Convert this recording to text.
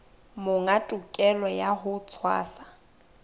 monga tokelo ya ho tshwasa